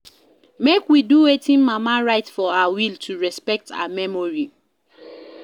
Make we do wetin mama write for her will to respect her memory